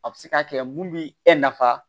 A bɛ se ka kɛ mun bi e nafa